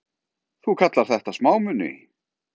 Þú kallar þetta smámuni!